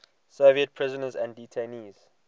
soviet prisoners and detainees